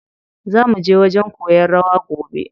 Zaa muje wajen koyan rawa gobe.